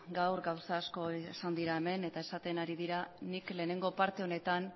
gaur gauza asko esan dira hemen eta esaten hari dira nik lehenengo parte honetan